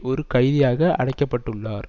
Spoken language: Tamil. ஒரு கைதியாக அடைக்க பட்டுள்ளார்